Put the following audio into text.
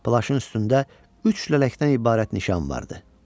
Plaşın üstündə üç lələkdən ibarət nişan vardı.